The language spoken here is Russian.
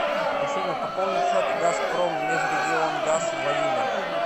афина пополнить счет газпроммежрегионгаз владимир